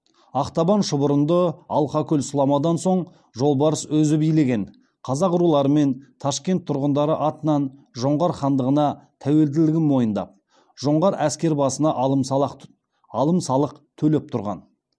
ақтабан шұбырынды алқакөл сұламадан соң жолбарыс өзі билеген қазақ рулары мен ташкент тұрғындары атынан жоңғар хандығына тәуелділігін мойындап жоңғар әскербасына алым салық төлеп тұрған